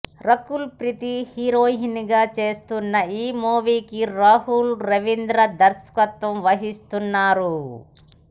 Rakul Preet heroine గా చేస్తున్న ఈ మూవీకి రాహుల్ రవీంద్రన్ దర్శకత్వం వహిస్తున్నారు